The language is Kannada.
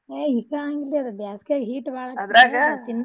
ಯ~ ಇಷ್ಟ ಾ ಆಗಂಗಿಲ್ರಿ ಅದ ಬ್ಯಾಸ್ಗ್ಯಾಗ heat ಬಾಳ .